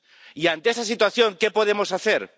Y, ante esa situación, ¿qué podemos hacer?